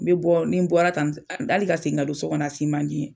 Me bɔ ni bɔra tan hali ka segin ka don sokɔnɔ a si man di ye.